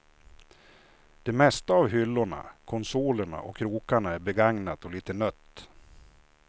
Det mesta av hyllorna, konsolerna och krokarna är begagnat och litet nött.